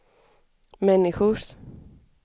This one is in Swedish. människors